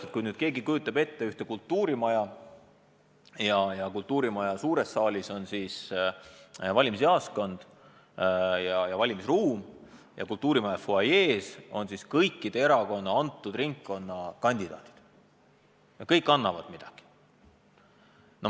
Kujutage nüüd ette ühte kultuurimaja, mille suures saalis on valimisjaoskond ja valimisruum ning kultuurimaja fuajees on kõikide erakondade vastava ringkonna kandidaadid ja igaüks annab midagi.